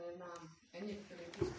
они